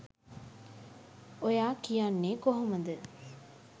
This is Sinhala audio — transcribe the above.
ඔයා කියන්නේ කොහොමද?